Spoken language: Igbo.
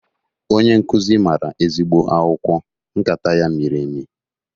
Onye nkụzi mara ezigbo akwụkwọ! Nkata ya miri emi